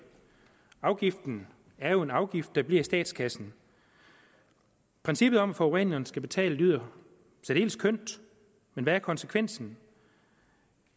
afgiften er en afgift der bliver i statskassen princippet om at forureneren skal betale lyder særdeles kønt men hvad er konsekvensen